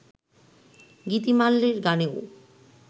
গীতিমাল্যের গানেও